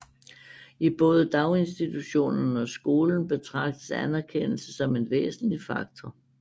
I både daginstitutionerne og skolen betragtes anerkendelse som en væsentlig faktor